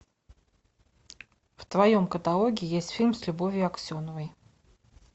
в твоем каталоге есть фильм с любовью аксеновой